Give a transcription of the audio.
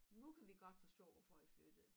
Nu kan vi godt forstå hvorfor i flyttede